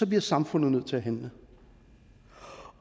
bliver samfundet nødt til at handle